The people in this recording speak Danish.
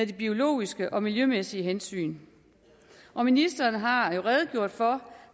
de biologiske og miljømæssige hensyn og ministeren har jo redegjort for